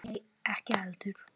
Nei, ekki heldur.